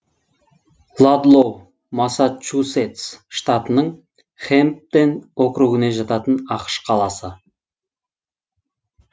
ладлоу массачусетс штатының хэмпден округіне жататын ақш қаласы